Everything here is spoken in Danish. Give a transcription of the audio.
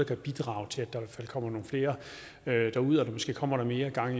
kan bidrage til at der kommer nogle flere derud så der måske kommer mere gang